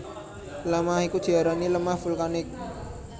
Lemah iku diarani lemah vulkanik